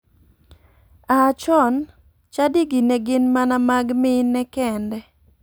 A chon, chadigi ne gin mana mag mine kende.